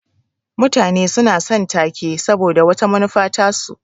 Mutane suna son ta-ke saboda wata manufa tasu.